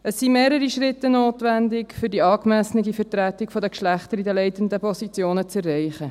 Es sind mehrere Schritte notwendig, um eine angemessene Vertretung der Geschlechter in den leitenden Positionen zu erreichen.